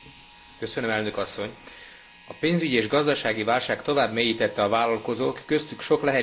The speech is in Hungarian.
A pénzügyi és gazdasági válság tovább mélyítette a vállalkozók, köztük sok lehetséges női vállalkozó problémáit.